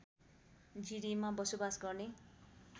जिरीमा बसोवास गर्ने